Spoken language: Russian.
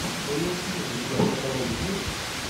уилл смит у тебя в каталоге есть